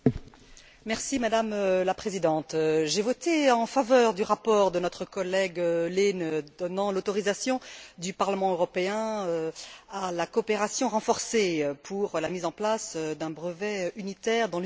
Madame la Présidente, j'ai voté en faveur du rapport de notre collègue Lehne donnant l'autorisation du Parlement européen à la coopération renforcée pour la mise en place d'un brevet unitaire dans l'Union européenne.